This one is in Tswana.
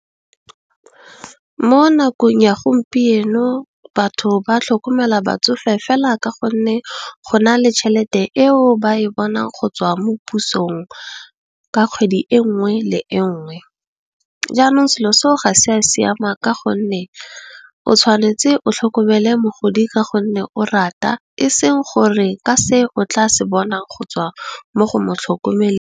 Mo nakong ya gompieno batho ba tlhokomela batsofe fela ka gonne, go na le tšhelete eo ba e bonang go tswa mo pusong ka kgwedi e nngwe le enngwe. Jaanong selo seo ga se a siama ka gonne, o tshwanetse o tlhokomele mogodi ka gonne o rata eseng gore, ka se o tla se bonang go tswa mo go mo tlhokomeleng.